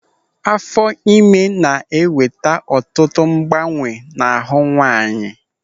Afọ ime na-eweta ọtụtụ mgbanwe n'ahụ nwaanyị.